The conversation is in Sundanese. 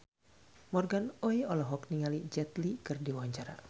Morgan Oey olohok ningali Jet Li keur diwawancara